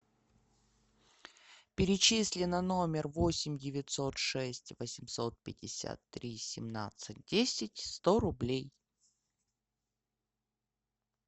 перечисли на номер восемь девятьсот шесть восемьсот пятьдесят три семнадцать десять сто рублей